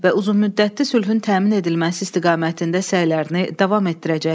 və uzunmüddətli sülhün təmin edilməsi istiqamətində səylərini davam etdirəcəklər.